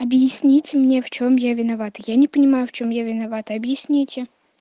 объясните мне в чем я виновата я не понимаю в чем я виновата объясните